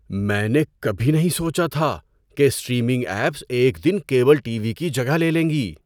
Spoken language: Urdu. میں نے کبھی نہیں سوچا تھا کہ اسٹریمنگ ایپس ایک دن کیبل ٹی وی کی جگہ لے لیں گی۔